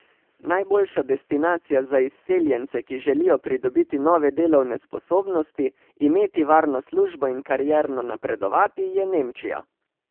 Najboljša destinacija za izseljence, ki želijo pridobiti nove delovne sposobnosti, imeti varno službo in karierno napredovati, je Nemčija.